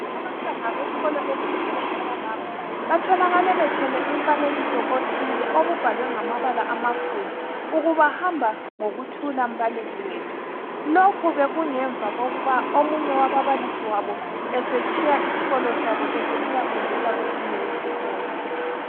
Abantwana beskolo esithile esalapho batholakale bethwele umfanekiso othile obubhlawe ngamabala amakhulu ukuba hamba ngokuthula mbalisi wethu lokhu bekungemva kokuba omunye wababalisi wabo esetshiya isikolo sabo esisiyafundisa kwesinye isikolo